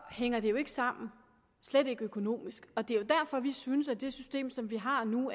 hænger det jo ikke sammen slet ikke økonomisk og det er jo derfor vi synes at det system som vi har nu